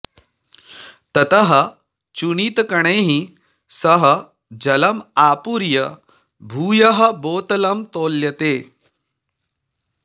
ततः चूणितकणैः सह जलं आपूर्य भूयः बोतलं तौल्यते